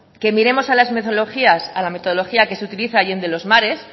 que miremos a la metodología que utiliza allende los mares